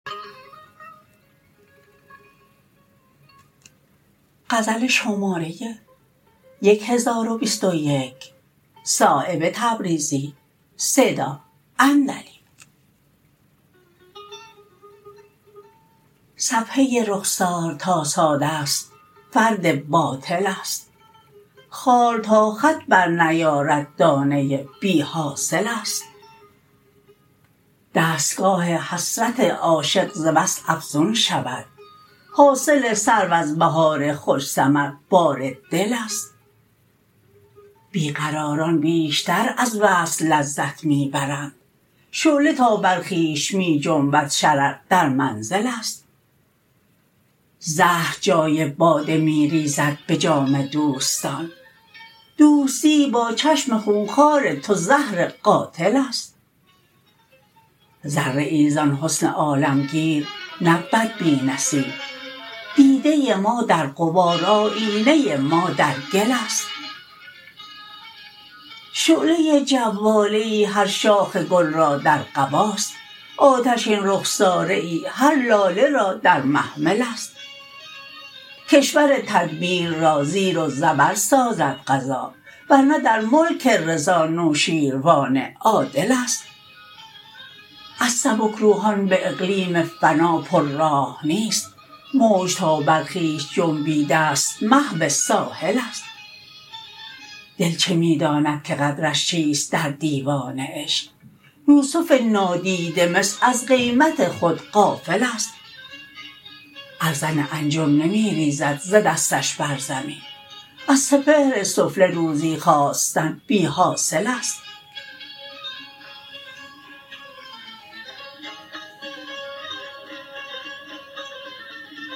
صفحه رخسار تا ساده است فرد باطل است خال تا خط برنیارد دانه بی حاصل است دستگاه حسرت عاشق ز وصل افزون شود حاصل سرو از بهار خوش ثمربار دل است بی قراران بیشتر از وصل لذت می برند شعله تا بر خویش می جنبد شرر در منزل است زهر جای باده می ریزد به جام دوستان دوستی با چشم خونخوار تو زهر قاتل است ذره ای زان حسن عالمگیر نبود بی نصیب دیده ما در غبار آیینه ما در گل است شعله جواله ای هر شاخ گل را در قباست آتشین رخساره ای هر لاله را در محمل است کشور تدبیر را زیر و زبر سازد قضا ورنه در ملک رضا نوشیروان عادل است از سبکروحان به اقلیم فنا پر راه نیست موج تا بر خویش جنبیده است محو ساحل است دل چه می داند که قدرش چیست در دیوان عشق یوسف نادیده مصر از قیمت خود غافل است ارزن انجم نمی ریزد ز دستش بر زمین از سپهر سفله روزی خواستن بی حاصل است